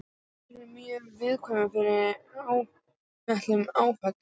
Heilinn er mjög viðkvæmur fyrir áhrifum áfengis.